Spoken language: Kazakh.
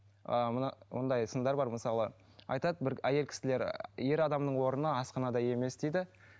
ыыы мына мындай сындар бар мысалы айтады бір әйел кісілер ер адамның орны асханада емес дейді